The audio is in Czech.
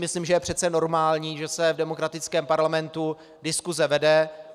Myslím, že je přece normální, že se v demokratickém parlamentu diskuse vede.